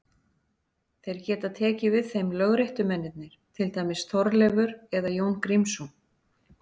Þeir geta tekið við þeim lögréttumennirnir, til dæmis Þorleifur eða Jón Grímsson.